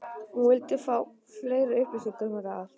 hún vildi fá meiri upplýsingar um þetta allt.